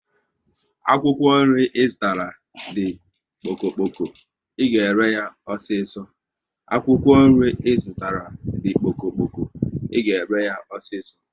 Akwụkwọ nri Ị zụtara di kpoko kpoko, ị ga ere yá osiso